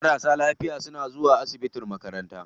Marasa lafiya na zuwa asibitin makaranta.